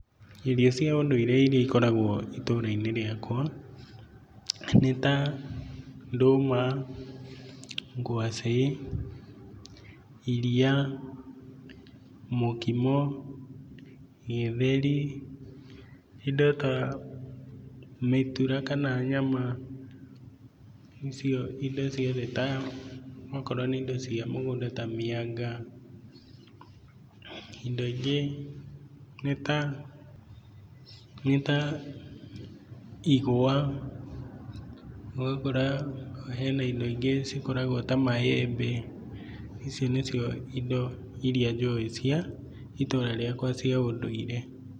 Irio cia ũndũire irĩa ikoragwo itũra-inĩ rĩakwa nĩ ta ndũma, ngwacĩ, iria, mũkimo, gĩtheri, indo ta mĩtura kana nyama, icio indo ciothe okorwo ni indo cia mũgũnda ta mĩaga, indo ingĩ nĩ ta igwa, ũgakora hena indo ingĩ cikoragwo ta maembe, icio nĩ cio indo irĩa njũwĩ ituura riakwa cia ũndũire.